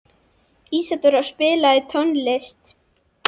Ísadóra, spilaðu tónlist.